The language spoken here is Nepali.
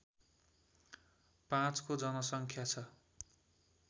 ५ को जनसङ्ख्या छ